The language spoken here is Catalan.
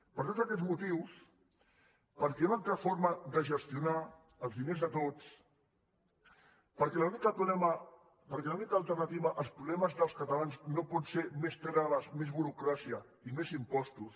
per tots aquests motius perquè hi ha una altra forma de gestionar els diners de tots perquè l’única alternativa als problemes dels catalans no pot ser més traves més burocràcia i més impostos